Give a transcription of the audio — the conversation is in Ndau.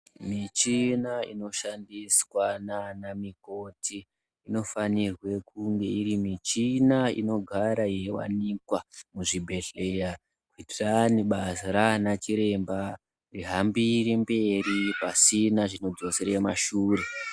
Michina inoshandiswa nana mikoti inofanirwe kunge iri michina inogara yeivanikwa muzvibhedhleya. Kuitirani basa rana chiremba rihambire mberi pasina zvinodzosere mumashure.